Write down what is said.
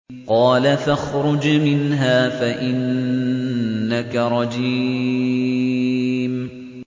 قَالَ فَاخْرُجْ مِنْهَا فَإِنَّكَ رَجِيمٌ